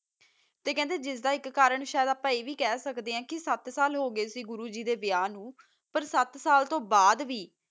ਕਾ ਜਿਡਾ ਏਕ ਕਰਨ ਅਪਾ ਆ ਵਿਕ ਖਾ ਸਕਦਾ ਆ ਸਤ ਸਾਲ ਹੋ ਗਯਾ ਸੀ ਗੁਰੋ ਗੀ ਦਾ ਵਹਾ ਨੂ ਸਤ ਸਾਲ ਤੋ ਬਾਦ ਵੀ